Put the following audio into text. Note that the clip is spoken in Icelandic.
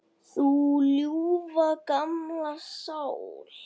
Þú ljúfa, gamla sál.